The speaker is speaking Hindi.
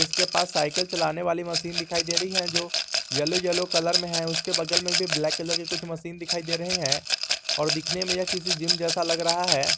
उसके पास साइकिल चलाने वाली मशीन दिखाई दे रही है जो येलो येलो कलर में है उसके बगल में भी ब्लैक कलर के कुछ मशीन दिखाई दे रहे हैं और दिखने में यह किसी जिम जैसा लग रहा है।